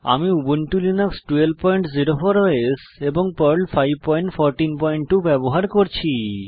আমি Ubuntu Linux 1204 OS এবং Perl 5142 ব্যবহার করছি